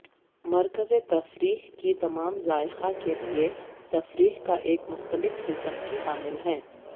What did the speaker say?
مرکز تفریح کی تمام ذائقہ کے لئے تفریح کا ایک مختلف قسم کی حامل ہے